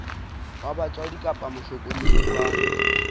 wa batswadi kapa mohlokomedi wa